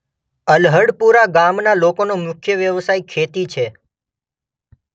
અલ્હડપુરા ગામના લોકોનો મુખ્ય વ્યવસાય ખેતી છે.